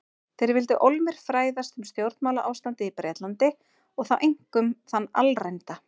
Þeir vildu ólmir fræðast um stjórnmálaástandið í Bretlandi- og þá einkum þann alræmda